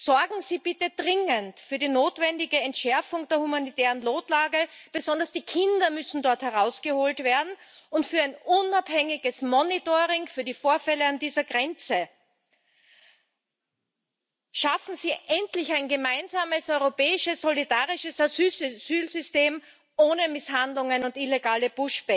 Sorgen Sie bitte dringend für die notwendige Entschärfung der humanitären Notlage besonders die Kinder müssen dort herausgeholt werden und für ein unabhängiges Monitoring für die Vorfälle an dieser Grenze. Schaffen Sie endlich ein gemeinsames europäisches solidarisches Asylsystem ohne Misshandlungen und illegale